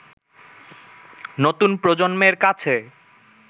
নতুন প্রজন্মের কাছে